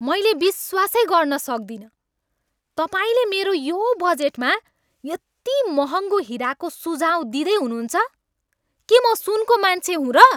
मैले विश्वासै गर्न सक्दिनँ तपाईँले मेरो यो बजेटमा यति महँगो हिराको सुझाउ दिँदै हुनुहुन्छ! के म सुनको मान्छे हुँ र?